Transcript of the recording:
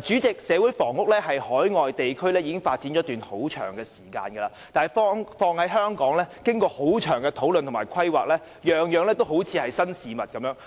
主席，社會房屋在海外地區已發展一段很長時間，但在香港經過了長時間的討論和規劃，卻依然像是新事物。